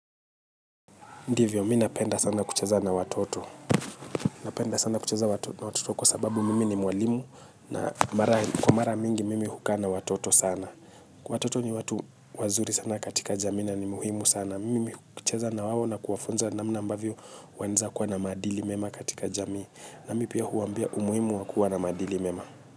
Ndivyo, mimi napenda sana kucheza na watoto. Mimi napenda sana kucheza na watoto kwa sababu mimi ni mwalimu na kwa mara mingi mimi hukaa na watoto sana. Watoto ni watu wazuri sana katika jamii na ni muhimu sana. Mimi kucheza na wao na kuwafunza namna ambavyo wanaweza kuwa na maadili mema katika jamii. Na mi pia huwaambia umuhimu wa kuwa na maadili mema.